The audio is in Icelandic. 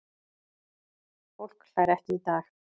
Fólk hlær ekki í dag.